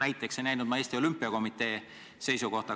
Näiteks ei näinud ma Eesti Olümpiakomitee seisukohta.